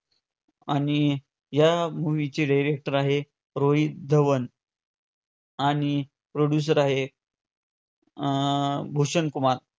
आणि या movie चे director आहे रोहित धवन आणि producer आहे अं भूषण कुमार.